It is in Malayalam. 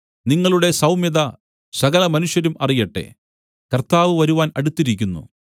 നിങ്ങളുടെ സൗമ്യത സകല മനുഷ്യരും അറിയട്ടെ കർത്താവ് വരുവാൻ അടുത്തിരിക്കുന്നു